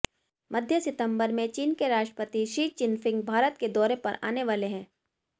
मध्य सितंबर में चीन के राष्ट्रपति शी चिनफिंग भारत के दौरे पर आने वाले हैं